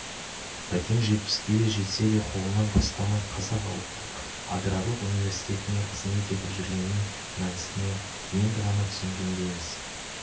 бәкең жетпіске де жетсе де қолынан тастамай қазақ ұлттық аграрлық университетінде қызмет етіп жүргенінің мәнісін енді ғана түсінгендейміз